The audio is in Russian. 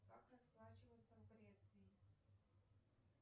как расплачиваться в греции